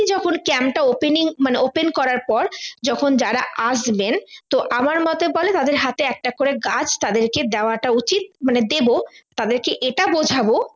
যখন camp টা opening মানে open করার পর যখন যারা আসবেন তো আমার মোতে বলে তাদের হাতে একটা করে গাছ তাদেরকে দেওয়াটা উচিৎ মানে দেব তাদেরকে এটা বোঝাবো